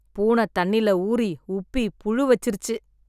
பூனை தண்ணில ஊறி, உப்பி புழு வச்சிருச்சு